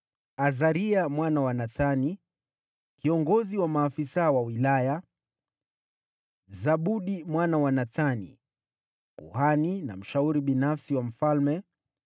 Azaria mwana wa Nathani: kiongozi wa maafisa wa wilaya; Zabudi mwana wa Nathani: kuhani na mshauri binafsi wa mfalme;